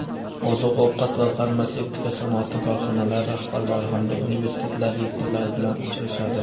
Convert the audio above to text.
oziq-ovqat va farmatsevtika sanoati korxonalari rahbarlari hamda universitetlar rektorlari bilan uchrashadi.